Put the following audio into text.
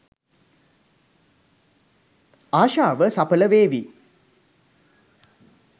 ආශාව සපල වේවි.